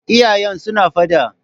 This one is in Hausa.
Iyayen suna fada.